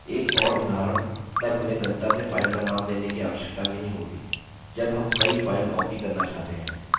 एक और उदाहरण तब हमें गंतव्य file का name देने की आवश्यकता नहीं होती जब हम कई file copy करना चाहते हैं